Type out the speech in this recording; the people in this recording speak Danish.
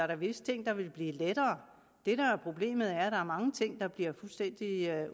der visse ting der ville blive lettere det der er problemet er at der er mange ting der bliver fuldstændig